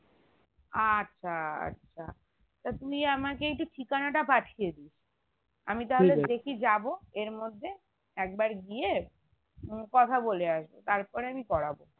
আচ্ছা আচ্ছা তা তুই আমাকে একটু ঠিকানা তা পাঠিয়েদিস আমি তাহলে দেখি যাবো এর মধ্যে একবার গিয়ে কথা বলে আসবো তারপর আমি করাবো